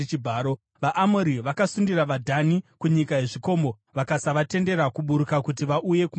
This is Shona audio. VaAmori vakasundira vaDhani kunyika yezvikomo, vakasavatendera kuburuka kuti vauye kumapani.